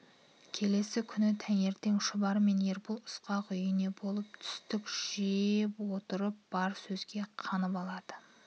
келесі күні таңертең шұбар мен ербол ысқақ үйінде болып түстік жеп отырып бар сөзге қанып алды